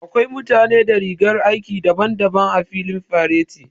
Akwai mutane da rigar aiki daban-daban a filin fareti.